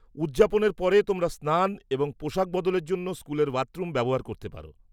-উদযাপনের পরে তোমরা স্নান এবং পোশাক বদলের জন্য স্কুলের বাথরুম ব্যবহার করতে পারো।